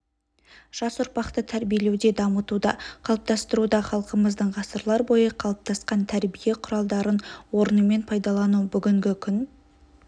жас ұрпақты тәрбиелеуде дамытуда қалыптастыруда халқымыздың ғасырлар бойы қалыптасқан тәрбие құралдарын орнымен пайдалану бүгінгі күн